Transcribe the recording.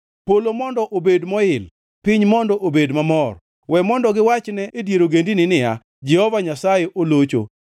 Polo mondo obed moil, piny mondo obed mamor, we mondo giwachne e dier ogendini niya, “Jehova Nyasaye olocho!”